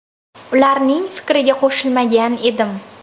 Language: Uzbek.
Ularning fikriga qo‘shilmagan edim.